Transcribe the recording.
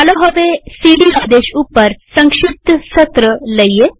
ચાલો હવે સીડી આદેશ ઉપર સંક્ષિપ્ત સત્રસેશન લઈએ